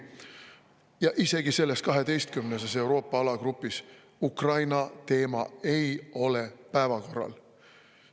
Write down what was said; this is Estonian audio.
Ja isegi selles 12-ses Euroopa alagrupis Ukraina teema ei ole päevakorral.